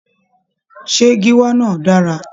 Ṣé gíwá náà dára?